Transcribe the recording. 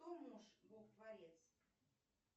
кто муж бог творец